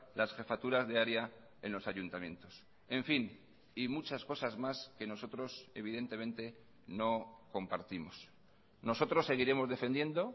las jefaturas de área en los ayuntamientos en fin y muchas cosas más que nosotros evidentemente no compartimos nosotros seguiremos defendiendo